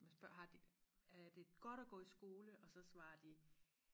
man spørger har de er det godt og gå i skole og så svarer de